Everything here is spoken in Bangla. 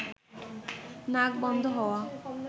নাক বন্ধ হওয়া